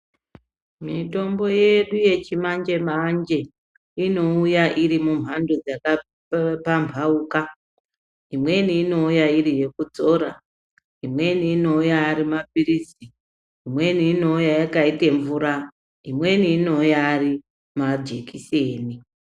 Mitombo yedu yechimanje manje inouya irimumhando dzakapambauka imweni inouya iri yekudzora, imweni inouya ari mapirizi, imweni inouya yakaite mvura imweni inouya ari majekiseni.